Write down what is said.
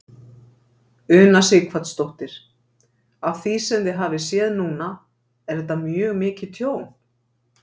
Una Sighvatsdóttir: Af því sem þið hafið séð núna er þetta mjög mikið tjón?